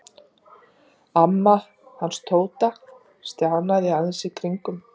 Amma hans Tóta stjanaði í kringum drengina sína eins og hún kallaði þá.